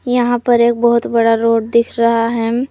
यहां पर एक बहुत बड़ा रोड दिख रहा है।